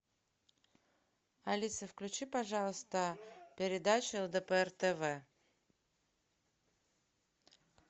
алиса включи пожалуйста передачу лдпр тв